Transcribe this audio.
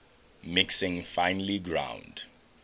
mixing finely ground